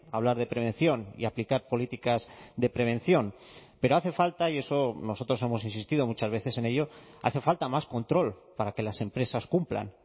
hablar de prevención y aplicar políticas de prevención pero hace falta y eso nosotros hemos insistido muchas veces en ello hace falta más control para que las empresas cumplan